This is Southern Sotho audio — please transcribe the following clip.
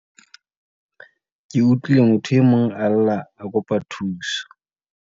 Ke utlwile motho e mong a lla a kopa thuso.